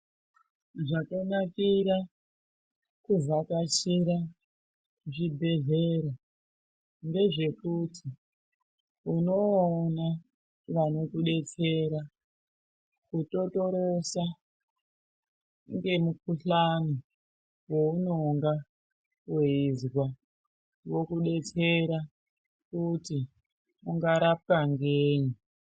Zvakanakira kuvhakachira zvibhedhlera ndezvekuti unovaona vanokubetsera kutotorosa nemukuhlani weunenge weizwa vokudetsera kuti ungarapwa ngei.